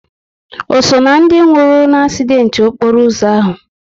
O so ná ndị nwụrụ n'asident okporo ụzọ ahụ?